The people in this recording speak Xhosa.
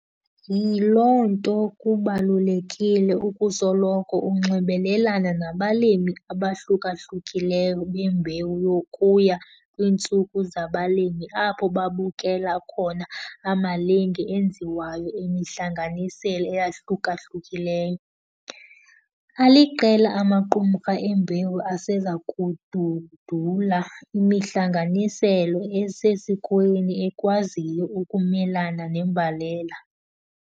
Yiloo nto kubalulekile ukusoloko unxibelelana nabameli abahluka-hlukileyo bembewu nokuya kwiintsuku zabalimi apho babukela khona amalinge enziwayo emihlanganisela eyahluka-hlukileyo. Aliqela amaqumrha embewu aseza kududula imihlanganisela esesikweni ekwaziyo ukumelana nembalela.